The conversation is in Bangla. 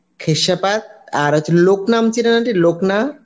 খেশেপাত আর হচ্ছে লনাম চেনেন aunty লকনা?